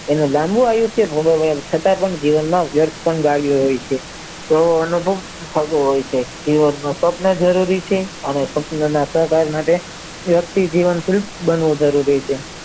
એને લાબું આયુષ્ય ગુમાવ્યું છતાં પણ જીવનમાં વ્યર્થ પામ્યો છે તેવો અનુભવ થતો હોય છે જે તે સપનોના અહંકાર માટે વ્યક્તિ જીવંતરિત બનવું જરૂરી છે